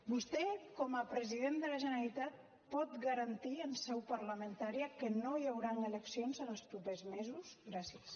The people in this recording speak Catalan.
vostè com a president de la generalitat pot garantir en seu parlamentària que no hi hauran eleccions en els propers mesos gràcies